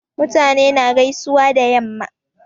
Mutane na gaisuwa da yamma